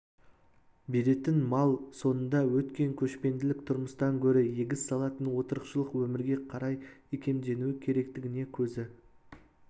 беретін мал соңында өткен көшпенділік тұрмыс-тан гөрі егіс салатын отырықшылық өмірге қарай икемденуі керектігіне көзі